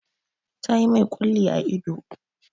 Ta yi mai ƙulli a ido.